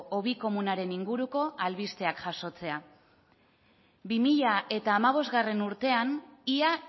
hobi komunaren inguruko albisteak jasotzea bi mila hamabostgarrena urtean ia